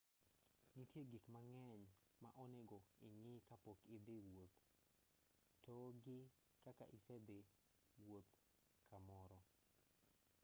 nitie gik mang'eny ma onego ing'i ka pok idhi wuoth togi ka isedhii wuoth kamoro